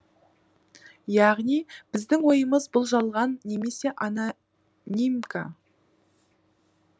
яғни біздің ойымыз бұл жалған немесе анонимка